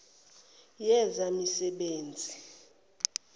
yezemisebenzi